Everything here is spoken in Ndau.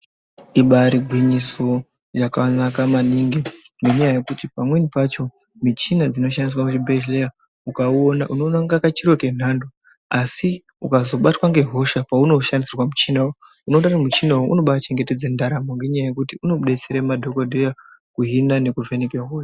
Iba iri gwinyiso yakanaka maningi ngenyaya yekuti pamweni pacho michina dzinoshandiswa muzvibhedhlera ukaona, kanenge kachiro kenhando, asi ukazobatwa ngehosha, peunoshandisirwa muchina uyu, unoona kuti muchina uyu unobachengetedza ndaramo ngenyaya yekuti unodetsera madhogodheya kuhina nekuvheneke hosha.